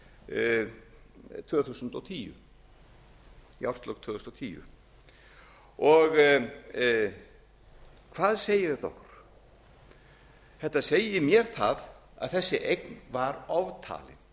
árið tvö þúsund og tíu í árslok tvö þúsund og tíu hvað segir þetta okkur þetta segir mér það að þessi eign var oftalin